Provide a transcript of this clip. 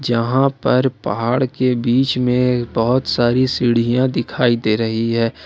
जहां पर पहाड़ के बीच में बहुत सारी सीढ़ियां दिखाई दे रही है।